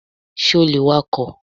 Ṣé o lè wakọ̀?